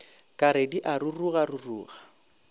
ka re di a rurugaruruga